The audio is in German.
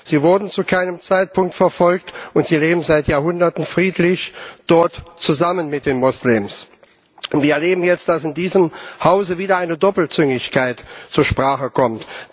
Sie wurden zu keinem Zeitpunkt verfolgt, und sie leben dort seit Jahrhunderten friedlich mit den Moslems zusammen. Wir erleben jetzt, dass in diesem Hause wieder eine Doppelzüngigkeit zur Sprache kommt.